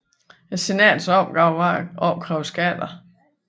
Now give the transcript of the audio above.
Senatets opgave var at opkræve skatter